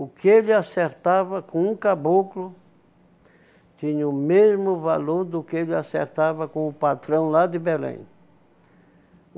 O que ele acertava com um caboclo tinha o mesmo valor do que ele acertava com o patrão lá de Belém.